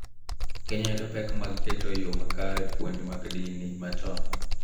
Kenya yudo pek mag keto e yo makare puonj mag din machon